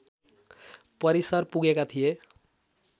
परिसर पुगेका थिए